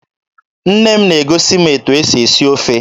Nne m na-egosi m etu e si esi ofe